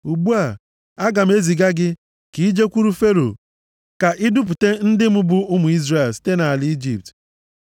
Ugbu a, aga m eziga gị ka i jekwuru Fero, ka i dupụta ndị m bụ ụmụ Izrel site nʼala Ijipt.”